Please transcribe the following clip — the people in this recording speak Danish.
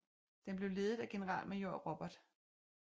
Den blev ledet af generalmajor Robert H